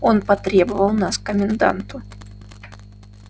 он потребовал нас к коменданту